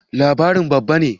Labirin babba ne?